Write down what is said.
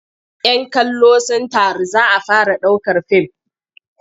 "Yan kallo sun taru za a fara ɗaukar fim.